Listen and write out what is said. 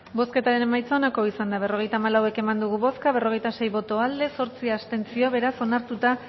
bozketaren emaitza onako izan da berrogeita hamalau eman dugu bozka berrogeita sei boto aldekoa zortzi abstentzio beraz onartuta